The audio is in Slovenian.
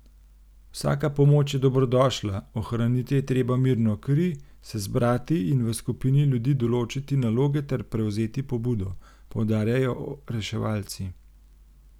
Vsaka pomoč je dobrodošla, ohraniti je treba mirno kri, se zbrati in v skupini ljudi določiti naloge ter prevzeti pobudo, poudarjajo reševalci.